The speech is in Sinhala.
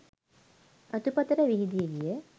අතු පතර විහිදි ගිය